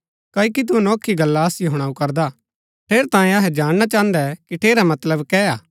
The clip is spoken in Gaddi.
क्ओकि तू अनोखी गल्ला असिओ हुणाऊ करदा ठेरैतांये अहै जाणना चाहन्दै कि ठेरा मतलब कै हा